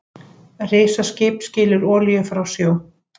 Risaskip skilur olíu frá sjó